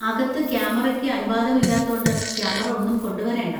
അകത്ത് ക്യാമറയ്ക്ക് അനുവാദമില്ലാത്തോണ്ട് ക്യാമറ ഒന്നും കൊണ്ടുവരേണ്ട.